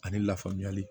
Ani lafamuyali